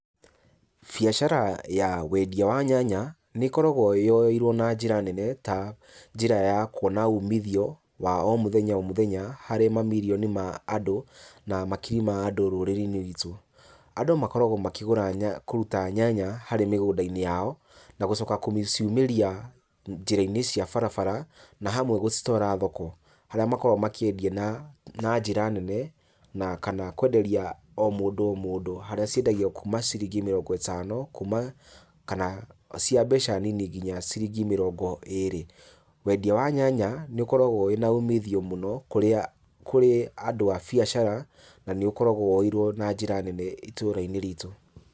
Biacara ya wendia wa nyanya, nĩ koragwo yoeirwo na njĩra nene, ta njĩra ya kuona umithio, wa o mũthenya o mũthenya, harĩ mamirioni ma andũ, na makiri ma andũ rũrĩrĩinĩ ruitũ. Andũ makoragwo makĩgũra kũruta nyanya harĩ mĩgũndainĩ yao, nagũcoka gũciumĩria njĩrainĩ cia barabara na hamwe gũcitwara thoko. Harĩa makoragwo makĩendia na na njĩra nene na kana kwenderia o mũndũ o mũndũ harĩa ciendagio kuma ciringi mĩrongo ĩtano, kuma kana cia mbeca nini nginya ciringi mĩrongo ĩrĩ. Wendia wa nyanya nĩũkoragwo wĩ naumithio mũno, kũrĩa kũrĩ andũ a biacara na nĩũkoragwo woeirwo na njĩra nene itũrainĩ ritu.